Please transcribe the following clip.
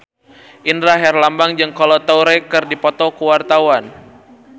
Indra Herlambang jeung Kolo Taure keur dipoto ku wartawan